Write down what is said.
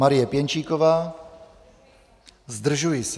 Marie Pěnčíková: Zdržuji se.